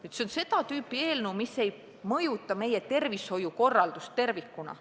See on seda tüüpi eelnõu, mis ei mõjuta meie tervishoiukorraldust tervikuna.